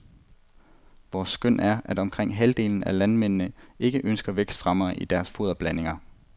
Vores skøn er, at omkring halvdelen af landmændene ikke ønsker vækstfremmere i deres foderblandinger.